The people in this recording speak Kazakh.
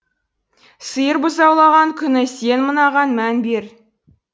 сиыр бұзаулаған күні сен мынаған мән бер